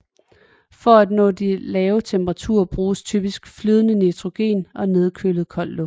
For at nå de lave temperaturer bruges typisk flydende nitrogen og nedkølet koldt luft